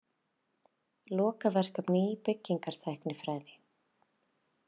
Lokaverkefni í byggingartæknifræði.